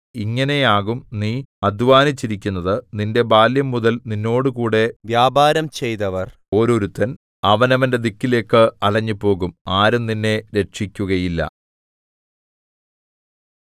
ഇങ്ങനെയാകും നീ അദ്ധ്വാനിച്ചിരിക്കുന്നതു നിന്റെ ബാല്യംമുതൽ നിന്നോടുകൂടെ വ്യാപാരം ചെയ്തവർ ഓരോരുത്തൻ അവനവന്റെ ദിക്കിലേക്കു അലഞ്ഞുപോകും ആരും നിന്നെ രക്ഷിക്കുകയില്ല